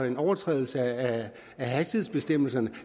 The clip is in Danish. en overtrædelse af hastighedsbestemmelserne